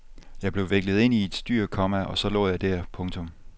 Jeg blev viklet ind i et styr, komma og så lå jeg der. punktum